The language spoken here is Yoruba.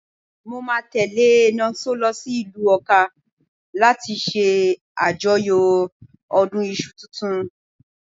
Mo máa tẹ́lẹ̀ Nonso lọ sí ìlú Ọká láti ṣe àjọyọ̀ ọdún iṣu tuntun.